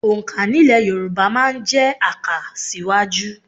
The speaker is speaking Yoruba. Òǹkà nílẹ̀ Yorùbá máa ń jẹ́ àkàsíwájú